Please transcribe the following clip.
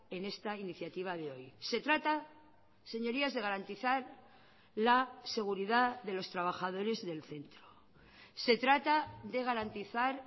en esta iniciativa de hoy se trata señorías de garantizar la seguridad de los trabajadores del centro se trata de garantizar